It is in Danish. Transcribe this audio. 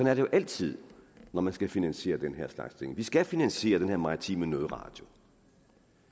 jo altid når man skal finansiere den her slags ting vi skal finansiere den her maritime nødradio